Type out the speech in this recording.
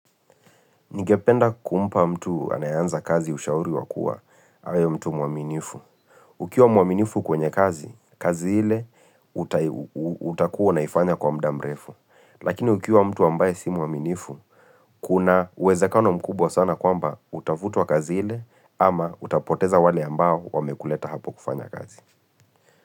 Nigependa kumpa mtu anayeanza kazi ushauri wakua, awe mtu mwaminifu. Ukiwa mwaminifu kwenye kazi, kazi ile utakuwa unaifanya kwa muda mrefu. Lakini ukiwa mtu ambaye si mwaminifu, kuna uwezekano mkubwa sana kwamba utafutwa kazi ile, ama utapoteza wale ambao wamekuleta hapo kufanya kazi.